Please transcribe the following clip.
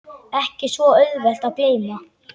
Ekki svo auðvelt að gleyma